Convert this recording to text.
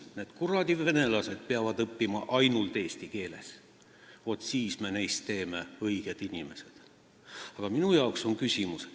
Need kuradi venelased peavad õppima ainult eesti keeles, vaat siis me teeme neist õiged inimesed!